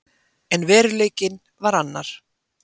En veruleikinn var annar.